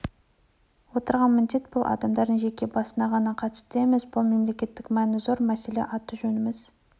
отырған міндет бұл адамдардың жеке басына ғана қатысты емес бұл мемлекеттік мәні зор мәселе аты-жөніміз